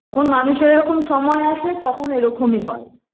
যখন মানুষের এরকম সময় আসে তখন এরকমি হয়